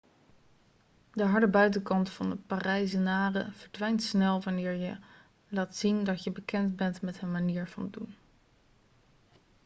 de harde buitenkant van de parijzenaren verdwijnt snel wanneer je laat zien dat je bekend bent met hun manier van doen